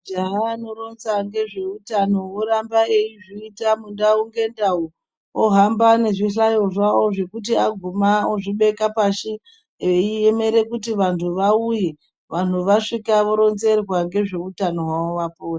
Majaha anoronza ngezveutano oramba eizviita mundau ngendau ohamba nezvihlayo zvavo zvekuti aguma ezvibeke pashi veiemera vantu kuti vauye vanhu vasvika voronzerwa ngezveutano hwavo vapore.